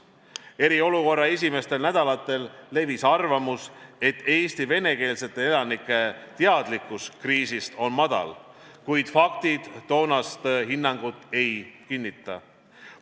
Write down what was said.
Eriolukorra esimestel nädalatel levis arvamus, et Eesti venekeelsete elanike teadlikkus kriisist on madal, kuid faktid toonast hinnangut ei kinnita.